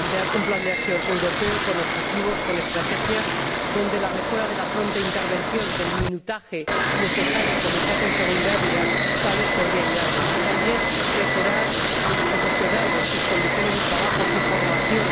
Plantear un plan de acción europeo con objetivos, con estrategias, donde la mejora de la pronta intervención del minutaje necesario, como se hace en seguridad vial, tal vez podría ayudarnos y, también, mejorar a los profesionales, sus condiciones de trabajo, su formación.